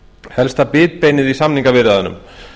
helsta bitbeinið í samningaviðræðunum